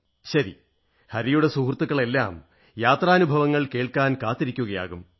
ശരി ഹരിയുടെ സുഹൃത്തുക്കളെല്ലാം യാത്രാനുഭവങ്ങൾ കേൾക്കാൻ കാത്തിരിക്കയാകും